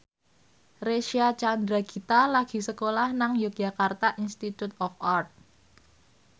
Reysa Chandragitta lagi sekolah nang Yogyakarta Institute of Art